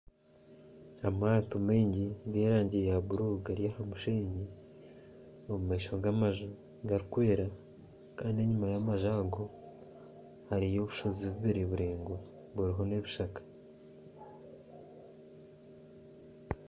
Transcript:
Amaato maingi g'erangi ya bururu gari aha musheenyi omu maisho g'amaju garikwera kandi enyima y'amaju ago hariyo obushozi bubiri buraingwa buriho n'ebishaka